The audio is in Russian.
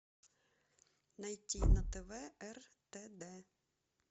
найти на тв ртд